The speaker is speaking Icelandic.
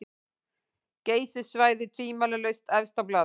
Geysissvæðið tvímælalaust efst á blaði.